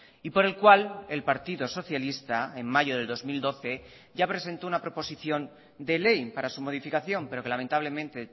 y por el cual el partido socialista en mayo de dos mil doce ya presentó una proposición de ley para su modificación pero que lamentablemente